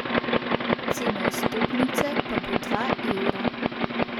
Cena vstopnice pa bo dva evra.